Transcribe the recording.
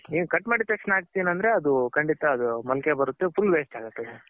ನೀನ್ ಕಟ್ ಮಾಡಿದ್ ತಕ್ಷಣ ಹಾಕ್ತೀನಿ ಅಂದ್ರೆ ಅದು ಖಂಡಿತ ಅದು ಮೊಳಕೆ ಬರುತ್ತೆ full water ಆಗುತ್ತೆ.